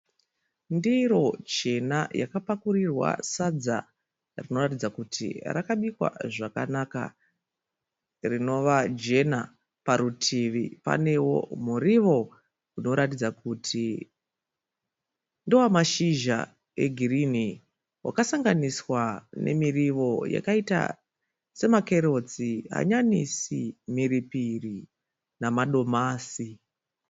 Ndiro chena yakapakurirwa sadza rinoratidza kuti rakabikwa zvakanaka. Rinova jena parutivi panewo murivo unoratidza kuti ndewa mashizha e girini. Wakasanganiswa nemiriwo wakaita semakerotsi, hanyanisi mhiripiri namadomasi.